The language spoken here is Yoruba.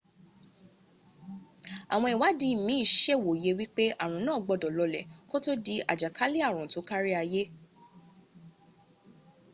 àwọn ìwádí mín sèwòye wípé àrùn náà gbọ́dọ̀ lọlẹ̀ kó tó di àjàkálẹ̀ àrùn tó kárí ayé